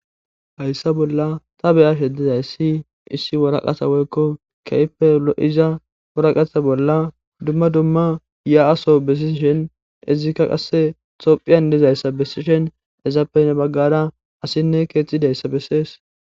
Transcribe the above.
hayssa bolla ta be'ashe dizayssi issi woraqasa woykko kehipe lo7iza woraqatha bolla dumma dumma ya7aso bessi shen izikka qasse tophiyan dizayssa bessishen ezappenne baggara asinne keexxidayssa bessees